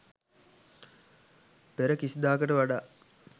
පෙර කිසිදාකට වඩා